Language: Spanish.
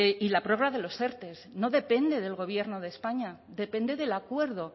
y la prórroga de los erte no depende del gobierno de españa depende del acuerdo